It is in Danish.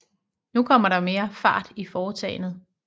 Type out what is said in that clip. Nu kom der mere fart i foretagenet